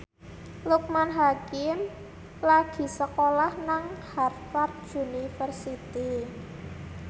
Loekman Hakim lagi sekolah nang Harvard university